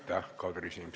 Aitäh, Kadri Simson!